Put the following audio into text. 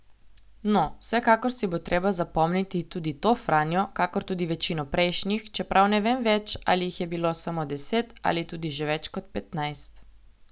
No, vsekakor si bo treba zapomniti tudi to Franjo, kakor tudi večino prejšnjih, čeprav ne vem več, ali jih je bilo samo deset ali tudi že več kot petnajst.